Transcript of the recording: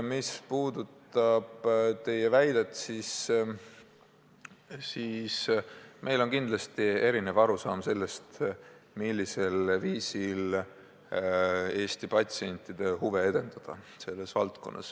Mis puudutab teie väidet, siis meil on kindlasti erinev arusaam sellest, millisel viisil Eesti patsientide huve kaitsta.